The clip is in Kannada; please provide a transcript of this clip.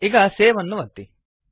ಈಗ ಸೇವ್ ಅನ್ನು ಒತ್ತಿ